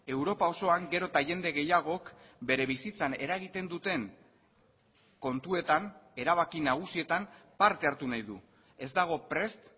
europa osoan gero eta jende gehiagok bere bizitzan eragiten duten kontuetan erabaki nagusietan parte hartu nahi du ez dago prest